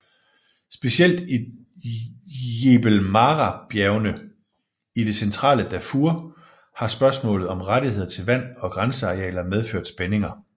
Specielt i Jebel Marrabjergene i det centrale Darfur har spørgsmålet om rettigheder til vand og græsningsarealer medført spændinger